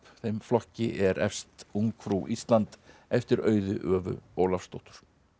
þeim flokki er efst ungfrú Ísland eftir Auði Ólafsdóttur